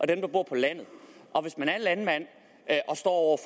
dem der bor på landet og hvis man er landmand og står